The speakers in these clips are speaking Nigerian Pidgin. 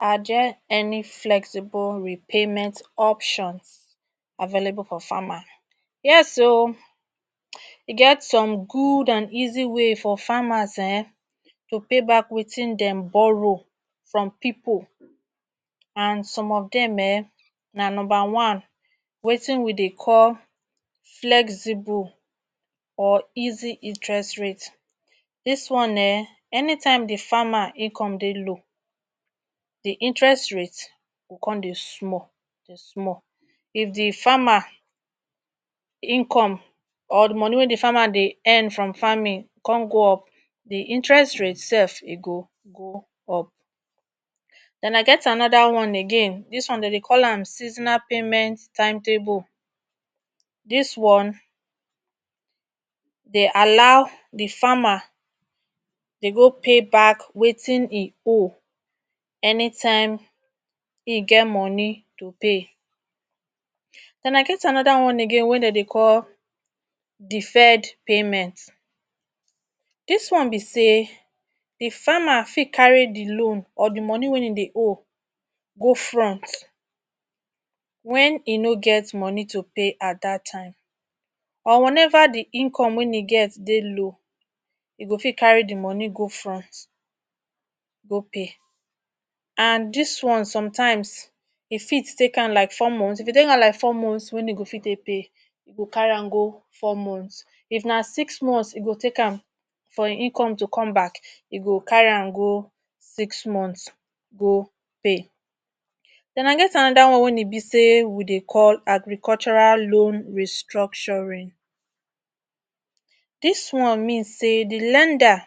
Are there any flexible repayment options available for farmers, yes o! E get some good and easy way for farmers[um]to pay back wetin dem borrow from pipo and some of dem ehn, na number one, wetin we dey call flexible or easy interest rate. Dis one ehn, anytime di farmer dey income dey low di interest rate go come dey small dey small. If di farmer income or di money wey di farmer dey earn from farming come go up, di interest rate sef go move. Den dem get anoda one again, dis one dem dey call am seasonal payment timetable. Dis one dey allow di farmer dey go pay back wetin im owe anytime im get money to pay. Den dem get anoda one again wen dem dey call, Deferred payment. Dis one be say di farmer fit carry loan or di money wey im dey owe go front wen im no get money to pay at dat time or wen eva di income wen im get dey low e go fit carry di money go front go pay. And Dis one sometimes e fit take am like for four months wen im fit dey pay, im fit take carry go to four months, if na six months e go take am for im income to comeback im go carry am go six months go pay. Den dem get anoda one wen im be say, we dey call agricultural loan restructuring. Dis one mean say lender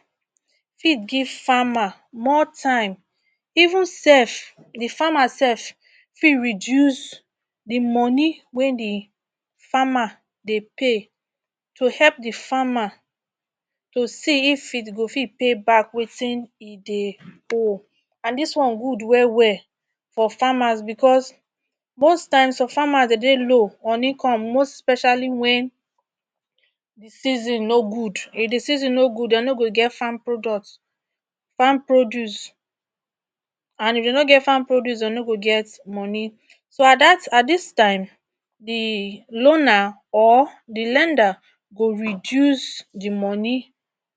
fit give farmer more time even sef, di farmer sef fit reduce di money wen di farmer dey pay to help di farmer to see if im go fit pay back wetin im dey owe. And Dis one good wel wel for farmers bicos most times so farmers dey dey low on income especially wen season no good, if di season no good, dem no go get farm products, farm produce, and if dem no get farm produce, dem no go get money. So at dis time di loaner or di lender go reduce di money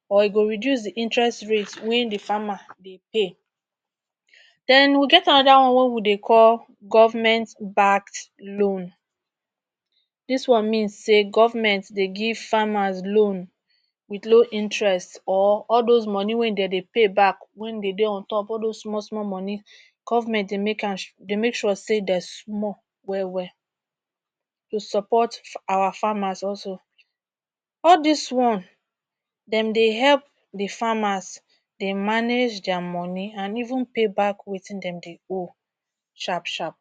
or e go reduce di interest rate wey di farmer dey pay. Den we get anoda one wey we dey call, Govment Backed Loan. Dis one mean say govment dey give farmers loan wit low interest or all dos money wey dem dey pay back wen been dey on top all dos small small money govment dey make sure say dem small wel wel to support our farmers also. All dis one dem dey help di farmers dey manage dia money and even pay back wetin dem dey owe sharp sharp.